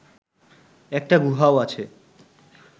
একটা গুহাও আছে